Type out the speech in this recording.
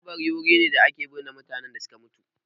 Kabari wuri ne da ake binne mutanen da suka mutu